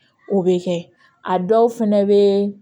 O bɛ kɛ a dɔw fɛnɛ bɛ